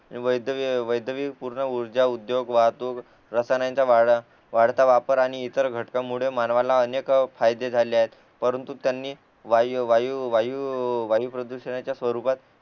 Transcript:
ते वैद्यकिय पूर्ण उर्जा उद्योग वाहतूक रसायनांचा वाढता वाढता वापर आणि ईतर घटकामुळे मानवाला अनेक फायदे झाले आहेत परंतु त्यांनी वायू वायू प्रदूषणाच्या स्वरुपात